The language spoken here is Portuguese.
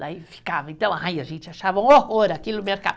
Daí ficava, então, aí a gente achava um horror aquilo